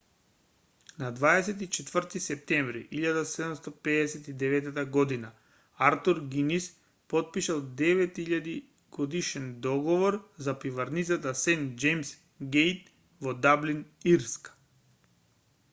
на 24 септември 1759 год артур гинис потпишал 9.000-годишен договор за пиварницата сент џејмс гејт во даблин ирска